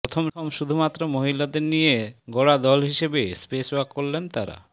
প্রথম শুধুমাত্র মহিলাদের নিয়ে গড়া দল হিসেবে স্পেস ওয়াক করলেন তাঁরা